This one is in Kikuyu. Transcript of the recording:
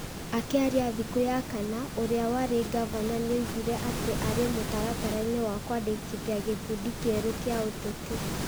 Akĩaria thikũ ya kana, ũrĩa warĩ Ngavana nĩaugire atĩ arĩ mũtaratara-inĩ wa kwandĩkithia gĩkundi kĩerũ kĩa ũteti ,